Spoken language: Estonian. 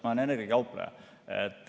Ma olen energiakaupleja.